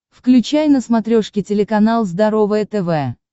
включай на смотрешке телеканал здоровое тв